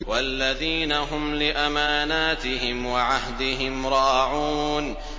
وَالَّذِينَ هُمْ لِأَمَانَاتِهِمْ وَعَهْدِهِمْ رَاعُونَ